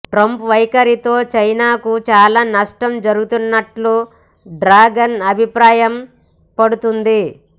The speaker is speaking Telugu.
ట్రంప్ వైఖరితో చైనాకు చాలా నష్టం జరుగుతున్నట్టు డ్రాగన్ అభిప్రాయంపడుతుంది